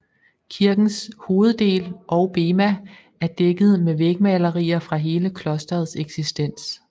Kirkens hoveddel og bema er dækket med vægmalerier fra hele klosterets eksistens